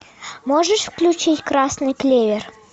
можешь включить красный клевер